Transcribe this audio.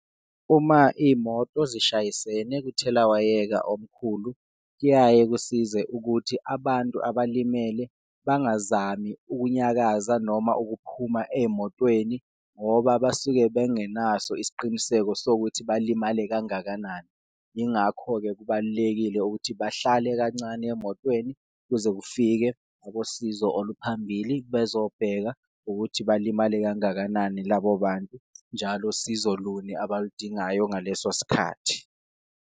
Uma iyimoto zishayisene kuthelawayeka omkhulu, kuyaye kusize ukuthi abantu abalimele bangazami ukunyakaza noma ukuphuma eyimotweni, ngoba basuke bengenaso isiqiniseko sokuthi balimale kangakanani. Ingakho-ke kubalulekile ukuthi bahlale kancane emotweni kuze kufike abosizo oluphambili bezobheka ukuthi balimale kangakanani labo bantu, njalo sizo luni abaludingayo ngaleso sikhathi.